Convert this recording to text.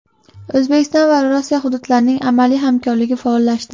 O‘zbekiston va Rossiya hududlarining amaliy hamkorligi faollashdi.